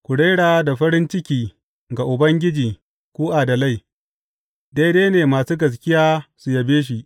Ku rera da farin ciki ga Ubangiji ku adalai; daidai ne masu gaskiya su yabe shi.